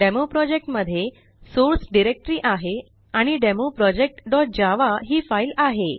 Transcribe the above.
demo project मध्ये source directory आहे आणि डेमो programजावा ही फाईल आहे